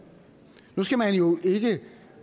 nu skal man jo ikke